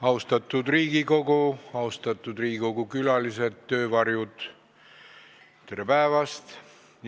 Austatud Riigikogu, austatud Riigikogu külalised, töövarjud, tere päevast!